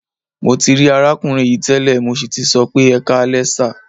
Mo ti rí arákùnrin yìí tẹ́lẹ̀, mo sì tì sọ pé "ẹkáalẹ́ sà".